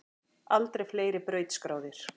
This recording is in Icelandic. Aldrei fleiri brautskráðir